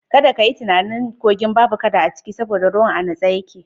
Kadda ka yi tunani cewa dan ruwan yana natsu ba kaduna a ciki.